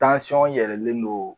yɛrɛlen don.